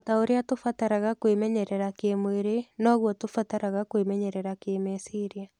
O ta ũrĩa tũbataraga kwĩmenyerera kĩĩmwĩrĩ, noguo tũbataraga kwĩmenyerera kĩĩmeciria.